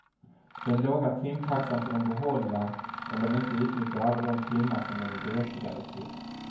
Den låga timtaxan får de behålla om de inte utnyttjar alla de timmar som de är berättigade till.